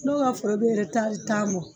N'o ka foro be tan bɔ.